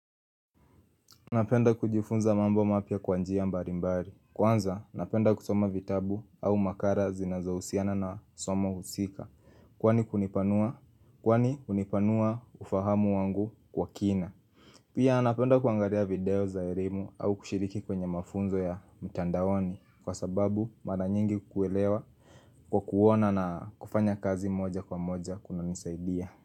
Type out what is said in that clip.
Napenda kujifunza mambo mapya kwa njia mbalimbali Kwanza napenda kusoma vitabu au makara zinazohusiana na somo husika Kwani hunipanua ufahamu wangu kwa kina Pia napenda kuangalia video za elimu au kushiriki kwenye mafunzo ya mtandaoni Kwa sababu mara nyingi kuelewa kwa kuona na kufanya kazi moja kwa moja kunanisaidia.